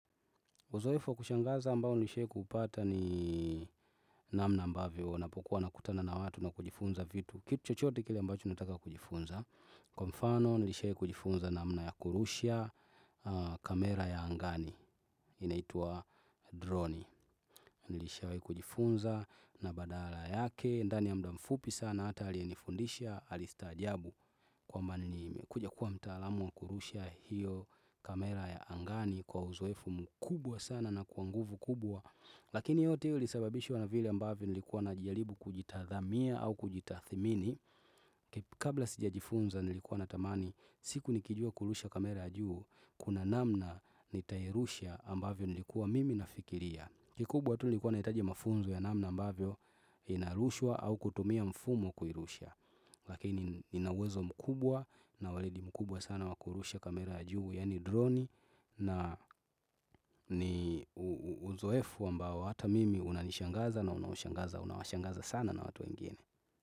Uzoefu wakushangaza ambao nilishai kupata ni namna ambavyo, napokuwa nakutana na watu na kujifunza vitu, kitu chochote kile ambacho nataka kujifunza. Kwa mfano nilishai kujifunza namna ya kurusha kamera ya angani, inaitua droni. Nilishai kujifunza na badala yake, ndani ya mda mfupi sana, hata alienifundisha, alistajabu kwamba ni nimekuja kuwa mtaalamu na kurusha hiyo kamera ya angani. Kwa uzowefu mkubwa sana na kwanguvu kubwa Lakini yote ili sababishwa na vile ambavyo nilikuwa na jalibu kujitathamia au kujitathimini Kabla sija jifunza nilikuwa na tamani siku nikijua kurusha kamera ya juu Kuna namna nitairusha ambavyo nilikuwa mimi nafikiria Kikubwatu nilikuwa na hitajia mafunzo ya namna ambavyo inarushwa au kutumia mfumo kuirusha Lakini ninawezo mkubwa na walidi mkubwa sana wakurusha kamera ya juu ya ni droni na ni uzoefu ambo hata mimi unanishangaza na unawashangaza sana na watu wengine.